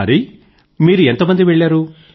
హరీ మీరు ఎంతమంది వెళ్లారు